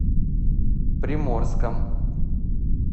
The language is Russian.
приморском